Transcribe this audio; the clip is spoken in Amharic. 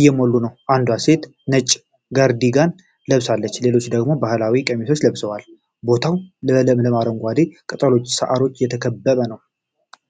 እየሞሉ ነው። አንዷ ሴት ነጭ ካርዲጋን ለብሳለች፤ ሌሎቹ ደግሞ ባህላዊ ቀሚሶች ለብሰዋል። ቦታው በለምለም አረንጓዴ ቅጠሎችና ሣሮች የተከበበ ነው።